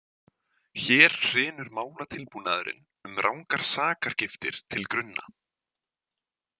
Hér hrynur málatilbúnaðurinn um rangar sakargiftir til grunna.